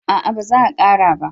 A'a ba za a kara ba